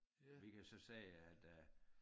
Vi kan så sige at øh